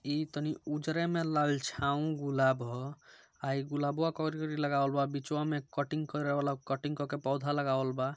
इ तनी उजरे में लालछाउन गुलाब है अ इ गुलाबवा लगावल बा अ विचबा में कटिंग कारवाला कटिंग कर के पौधा लगावल बा ।